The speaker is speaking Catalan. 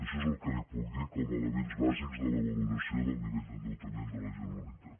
això és el que li puc dir com a elements bàsics de la valoració del nivell d’endeutament de la generalitat